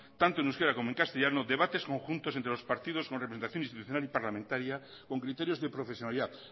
tanto en euskera como en castellano debates conjuntos entre los partidos con representación institucional y parlamentaria con criterios de profesionalidad